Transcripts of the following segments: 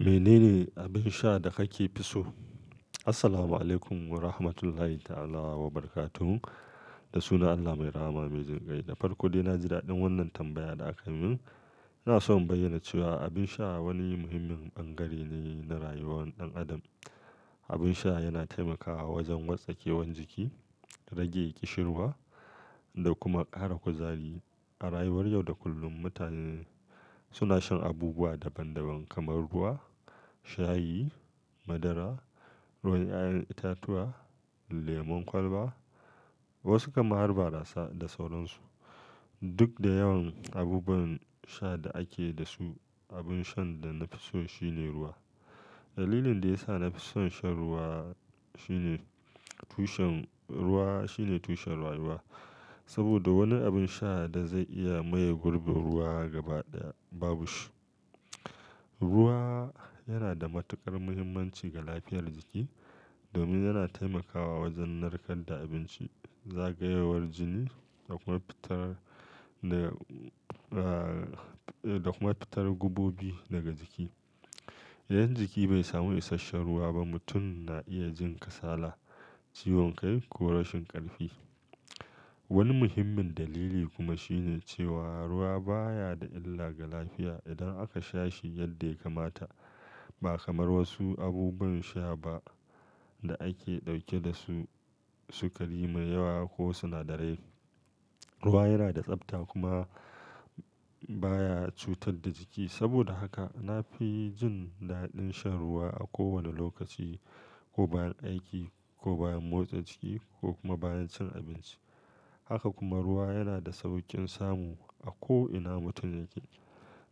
Mene ne abin sha da ka fi so? Assalamu alaikum wa rahmatullahi ta'ala wa barakatuhu Da sunan Allah mai rahama mai jin ƙai, da farko dai na ji daɗin wannan tambaya da aka min. Ina so in bayyana cewa abin sha wani muhimmin bangare ne na rayuwar ɗan adam. Abin sha yana taimakawa wajen wartsakewar jiki, rage ƙishirwa da kuma ƙara kuzari. A rayuwar yau da kullum, mutane suna shan abubuwa daban-daban kamar ruwa, shayi, madara, ruwan 'ya'yan itatuwa, lemon kwalba, wasu kam har barasa da sauran su. Duk da yawan abubuwan sha da ake da su, abin shan da na fi so shi ne ruwa. Dalilin da ya sa na fi son shan ruwa shine ruwa shine tushen rayuwa. Saboda wani abin sha da zai iya maye gurbin ruwa gaba ɗaya babu shi. Ruwa yana da matuƙar muhimmanci ga lafiyar jiki domin yana taimakawa wajen narkar da abinci, zagayowar jini da kuma fitar da kuma fitar gubobi daga jiki. Idan jiki bai samu isasshen ruwa ba, mutum na iya jin kasala, ciwon kai ko rashin ƙarfi. Wani muhimmin dalili kuma shine cewa ruwa baya da illa ga lafiya idan aka sha shi yadda ya kamata. Ba kamar wasu abubuwan sha ba da suke ɗauke da su sukari mai yawa ko sinadarai. Ruwa yana da tsafta kuma baya cutar da jiki. Saboda haka na fi jin daɗin shan ruwa a kowane lokaci, ko bayan aiki, ko bayan motsa jiki ko kuma bayan cin abinci. Haka kuma ruwa yana da sauƙin samu a ko ina mutum yake.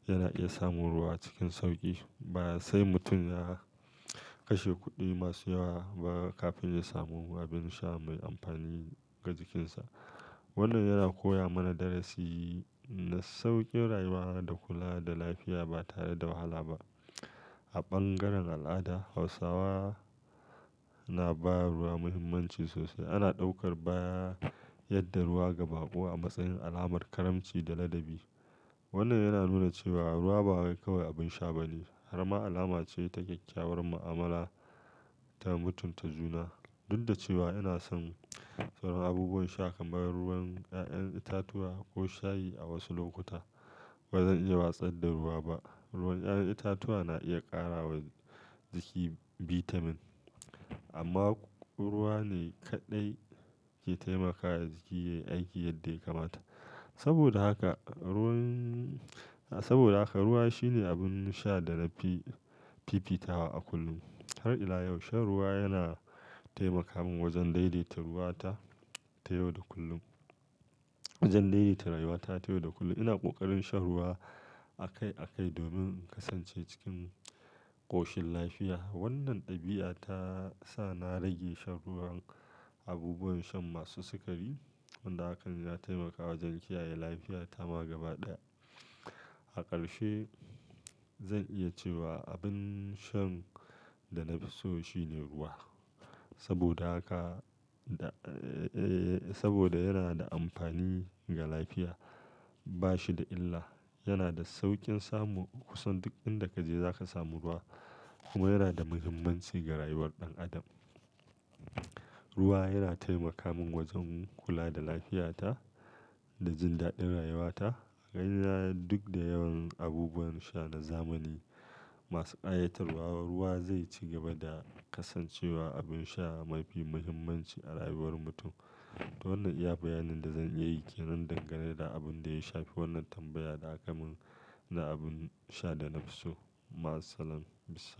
Yana iya samun ruwa cikin sauƙi. Ba sai mutum ya kashe kuɗi masu yawa ba kafin ya samu abin sha mai amfani ga jikinsa. Wannan yana koya mana darasi na sauƙin rayuwa da kula da lafiya ba tare da wahala ba. A bangaren al'ada, Hausawa na ba ruwa muhimmanci sosai. Ana ɗaukar bayar da ruwa ga bako a matsayin alamar karamci da ladabi. Wannan yana nuna cewa ruwa ba kawai abin sha bane, har ma alama ce ta kyakkyawar mu'amala ta mutunta juna. Duk da cewa ina son sauran abubuwan sha kamar ruwan 'ya'yan itatuwa ko shayi a wasu lokuta, ba zan iya watsar da ruwa ba. Ruwan 'ya'yan itatuwa na iya ƙara wa jiki bitamin amma ruwa ne kaɗai ke taimakawa jiki yayi aiki yadda ya kamata. Saboda haka ruwa shi ne abin sha da na fi fifitawa a kullum. Har ila yau, shan ruwa yana taimaka min wajen daidaita rayuwa ta ta yau da kullum. Wajen daidaita rayuwa ta ta yau da kullum. Ina ƙoƙarin shan ruwa akai akai domin in kasance cikin ƙoshin lafiya. Wannan ɗabi'a ta sa na rage shan ruwan abubuwan shan masu sukari, wanda hakan ya taimakawa wajen kiyaye lafiyata ma gaba ɗaya. A ƙarshe, zan iya cewa abin shan da na fi so shi ne ruwa. Saboda yana da amfani ga lafiya, ba shi da illa, yana da sauƙin samu. Kusan duk inda ka je za ka samu ruwa kuma yana da muhimmanci ga rayuwar ɗan adam. Ruwa yana taimaka min wajen kula da lafiyata da jin daɗin rayuwata. A gani na duk da yawan abubuwan sha na zamani masu ƙayatarwa, ruwa zai ci gaba da kasancewa abin sha mafi muhimmanci a rayuwar mutum. To, wannan iya bayanin da zan iya yi ke dangane da abin da ya shafi wannan tambaya da aka min na abin sha da na fi so. Ma salam bissallam.